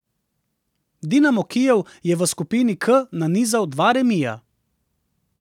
Dinamo Kijev je v skupini K nanizal dva remija.